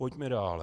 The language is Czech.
Pojďme dále.